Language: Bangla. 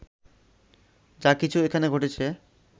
যা কিছু এখানে ঘটেছে